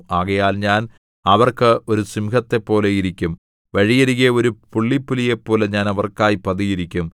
ആകയാൽ ഞാൻ അവർക്ക് ഒരു സിംഹത്തെപ്പോലെ ഇരിക്കും വഴിയരികെ ഒരു പുള്ളിപ്പുലിയെപ്പോലെ ഞാൻ അവർക്കായി പതിയിരിക്കും